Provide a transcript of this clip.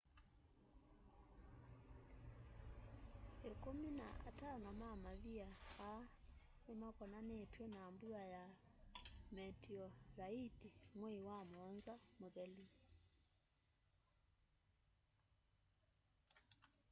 ĩkũmĩ na atano ma mavĩa aa nĩmakonanitw'e na mbua ya metioraiti mwei wa mũonza muthelu